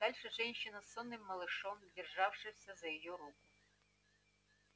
дальше женщина с сонным малышом державшимся за её руку